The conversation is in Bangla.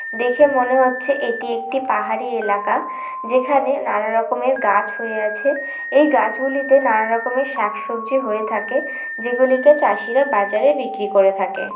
দেখে মনে হচ্ছে এটি একটি পাহাড়ি এলাকা। যেখানে নানা রকমের গাছ হয়ে আছে ।এই গাছগুলিতে নানা রকমের শাকসবজি হয়ে থাকেযেগুলিকে চাষিরা বাজারে বিক্রি করে থাকে।